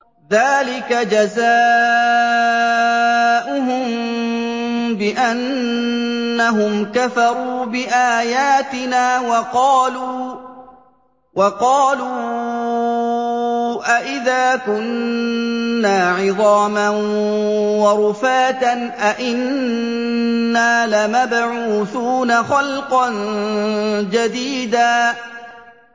ذَٰلِكَ جَزَاؤُهُم بِأَنَّهُمْ كَفَرُوا بِآيَاتِنَا وَقَالُوا أَإِذَا كُنَّا عِظَامًا وَرُفَاتًا أَإِنَّا لَمَبْعُوثُونَ خَلْقًا جَدِيدًا